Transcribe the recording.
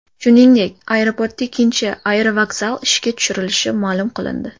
Shuningdek, aeroportda ikkinchi aerovokzal ishga tushirilishi ma’lum qilindi .